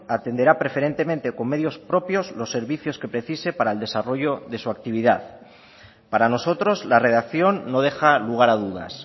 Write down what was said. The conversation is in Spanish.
atenderá preferentemente con medios propios los servicios que precise para el desarrollo de su actividad para nosotros la redacción no deja lugar a dudas